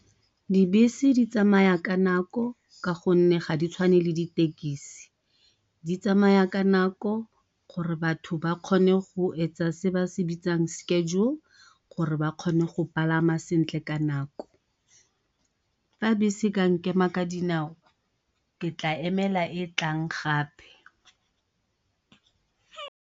Dibese di tsamaya ka nako ka gonne ga di tshwane le ditekisi, di tsamaya ka nako gore batho ba kgone go etsa se ba se bitsang schedule gore ba kgone go palama sentle ka nako. Fa bese e ka nkema ka dinao ke tla emela e tlang gape.